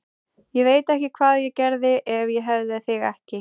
Ég veit ekki hvað ég gerði ef ég hefði þig ekki.